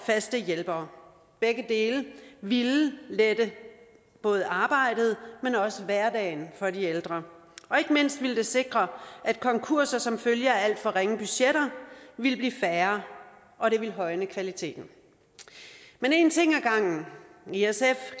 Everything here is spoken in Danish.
faste hjælpere begge dele ville lette både arbejdet men også hverdagen for de ældre og ikke mindst ville det sikre at konkurser som følge af alt for ringe budgetter ville blive færre og det ville højne kvaliteten men en ting ad gangen i sf